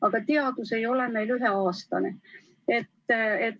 Aga teadus ei ole üheaastane.